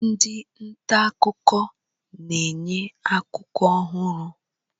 Ndị nta akụkọ na-enye akụkọ ọhụrụ.